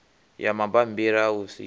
ya mabambiri a u sika